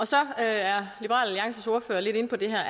så er liberal alliances ordfører lidt inde på det her